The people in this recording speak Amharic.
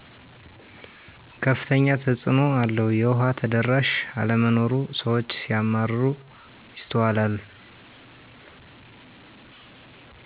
ከፍተኛ ተፅእኖ አለው የዉሃ ተደራሽ አለመኖር ስዎች ሲያማረሩ ይስተዋላል